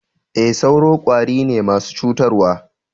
E, sauro kwari ne masu cutarwa.